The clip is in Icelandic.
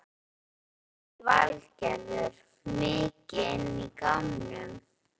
Lillý Valgerður: Mikið inn í gámnum?